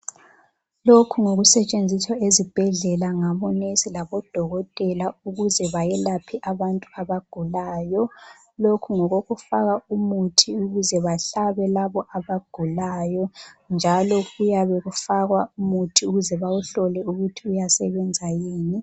Lokhu ngokusetshenziswa ezibhedlela ngabonesi labodokotela ukuze bayelaphe abantu abagulayo, lokhu ngokokufaka umuthi ukuze bahlabe labo abagulayo njalo kuyabe kufakwa umuthi ukuze bawuhlole ukuthi uyasebenza yini.